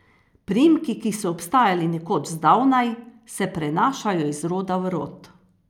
Priimki, ki so obstajali nekoč zdavnaj, se prenašajo iz roda v rod.